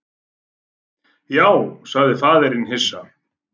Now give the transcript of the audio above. Já, sagði faðirinn hissa.